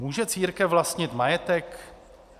"Může církev vlastnit majetek?